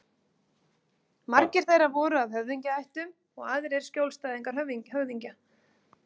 Margir þeirra voru af höfðingjaættum og aðrir skjólstæðingar höfðingja.